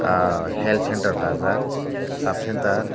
aho health centre dajak sub centre.